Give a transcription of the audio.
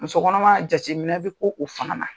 Muso kɔnɔma jate minɛ be k'o o fana na.